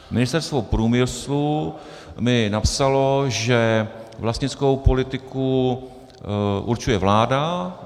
Ministerstvo průmyslu mi napsalo, že vlastnickou politiku určuje vláda.